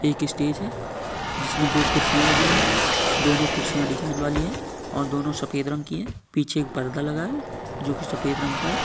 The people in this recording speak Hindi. एक स्टेज है जिसमे दो खुरसिया लगी हुई। दोनों खुरसिया डिजाइन वाली है और दोनों सफेद रंग की है। पीछे एक पर्दा लगा है जोकि सफेद रंग का है।